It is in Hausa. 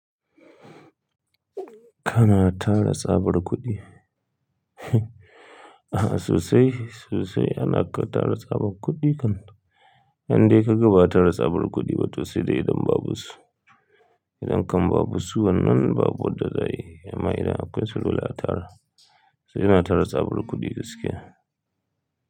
Kana tara tsabar kuɗi. A'a sosai, sosai ana ka tara tsabar kuɗi kan. Yanda kai gaba tara tsabar kuɗi ba to sai dai idan babu su. Idan kan babu su wannan babu wadda za ta yi. Amma idan akwai su dole a tara, sai ina tara tsabar kuɗi gaskiya.